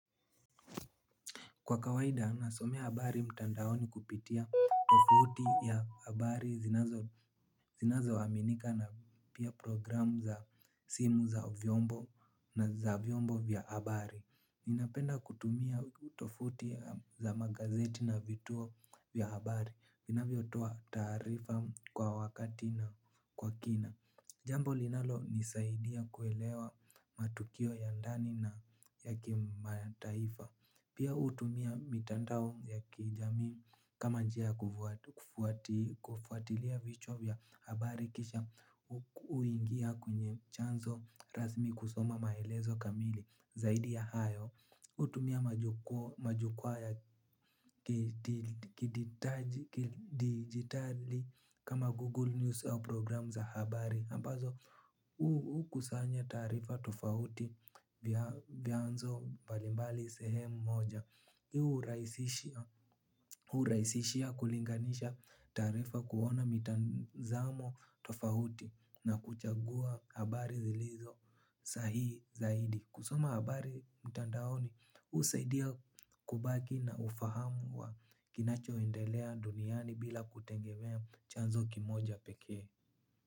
Kwa kawaida nasomea habari mtandaoni kupitia tovuti ya habari zinazoaminika na pia programu za simu za vyombo na za vyombo vya habari. Ninapenda kutumia tovuti za magazeti na vituo vya habari. Vinavyotoa taarifa kwa wakati na kwa kina. Jambo linalonisaidia kuelewa matukio ya ndani na ya kimataifa. Pia hutumia mitandao ya kijamii kama njia ya kufuatilia vichwa vya habari kisha huingia kwenye chanzo rasmi kusoma maelezo kamili zaidi ya hayo. Hutumia majukwaa ya kidigitali kama Google News au program za habari ambazo hukusanya taarifa tofauti vianzo mbalimbali sehemu moja hurahisishia kulinganisha taarifa kuona mitazamo tofauti na kuchagua habari zilizo sahihi zaidi. Kusoma habari mtandaoni, husaidia kubaki na ufahamu wa kinachoendelea duniani bila kutegemea chanzo kimoja pekee.